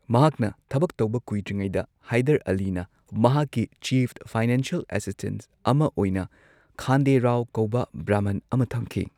ꯃꯍꯥꯛꯅ ꯊꯕꯛ ꯇꯧꯕ ꯀꯨꯏꯗ꯭ꯔꯤꯉꯩꯗ ꯍꯥꯏꯗꯔ ꯑꯂꯤꯅ ꯃꯍꯥꯛꯀꯤ ꯆꯤꯐ ꯐꯥꯏꯅꯥꯟꯁꯤꯌꯦꯜ ꯑꯁꯤꯁꯇꯦꯟꯠ ꯑꯃ ꯑꯣꯏꯅ ꯈꯥꯟꯗꯦ ꯔꯥꯎ ꯀꯧꯕ ꯕ꯭ꯔꯥꯍꯃꯟ ꯑꯃ ꯊꯝꯈꯤ꯫